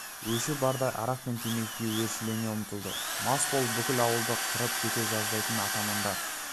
өші бардай арақ пен темекіге өршелене ұмтылды мас болып бүкіл ауылды қырып кете жаздайтын атамандар